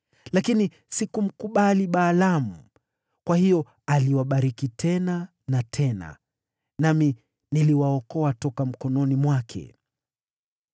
Lakini sikumkubali Balaamu, kwa hiyo aliwabariki tena na tena, nami niliwaokoa toka mkononi mwake.